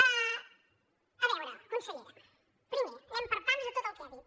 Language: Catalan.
a veure consellera primer anem per pams de tot el que ha dit